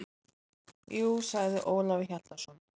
Jú, sagði Ólafur Hjaltason.